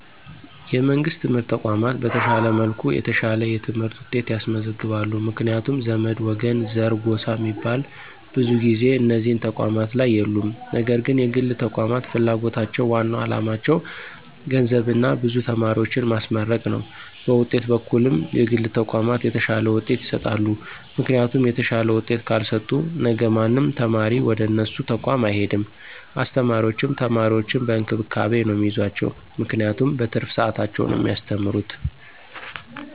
የመንግሥት የትምህርት ተቋማት በተሻለ መልኩ የተሻለ የትምህርት ውጤት ያስመዘግባሉ ምክንያቱም ዘመድ፣ ወገን፣ ዘር፣ ጎሳ ሚባል ብዙ ጊዜ እነዚህ ተቋማት ላይ የሉም ነገር ግን የግል ተቋማት ፍላጎታቸው ዋናው አላማቸው ገንዘብና ብዙ ተማሪዎችን ማስመረቅ ነው በውጤት በኩልም የግል ተቋማት የተሻለ ውጤት ይሰጣሉ ምክንያቱም የተሻለ ውጤት ካልሰጡ ነገ ማንም ተማሪ ወደነሱ ተቋም አይሄድም አስተማሪዎችም ተማሪዎችን በእንክብካቤ ነው ሚይዟቸው ምክንያቱም በትርፍ ሰዓታቸው ነው ሚያስተምሩት።